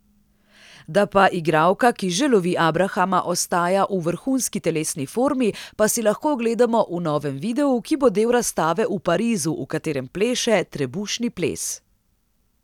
Da pa igralka, ki že lovi abrahama, ostaja v vrhunski telesni formi, pa si lahko ogledamo v novem videu, ki bo del razstave v Parizu, v katerem pleše trebušni ples.